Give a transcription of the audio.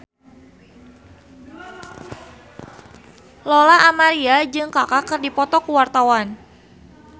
Lola Amaria jeung Kaka keur dipoto ku wartawan